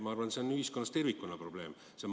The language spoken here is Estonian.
Ma arvan, et see on ühiskonnas tervikuna probleem.